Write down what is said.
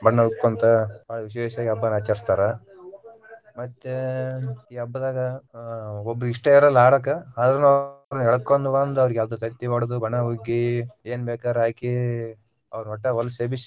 ಬಣ್ಣ ಉಕ್ಕೊಂತ ಬಾಳ ವಿಶೇಷವಾಗಿ ಹಬ್ಬಾ ಆಚರಸ್ತಾರ ಮತ್ತೆ ಈ ಹಬ್ಬದಾಗ ಅಹ್ ಒಬ್ಬರಿಗಾ ಇಷ್ಟಾ ಇರಲ್ಲಾ ಆಡಾಕ ಆದ್ರೂನು ಅವ್ನ ಎಳಕೊಂಡ ಬಂದ ಅವ್ರಿಗೆ ಅದು ತತ್ತಿ ಒಡದ ಬಣ್ಣ ಉಗ್ಗಿ ಏನ ಬೇಕಾರ ಹಾಕಿ ಅವ್ರ್ನ ವಟ್ಟ ಹೊಲಸ ಎಬಿಸಿ.